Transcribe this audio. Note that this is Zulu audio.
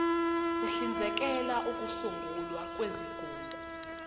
uhlinzekela ukusungulwa kwezigungu